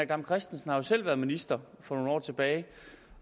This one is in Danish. dam kristensen har jo selv været minister for nogle år tilbage